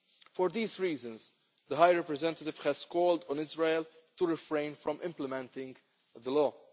For these reasons, the High Representative has called on Israel to refrain from implementing the law.